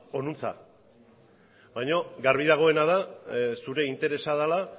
honantz baino garbi dagoena da zure interesa dela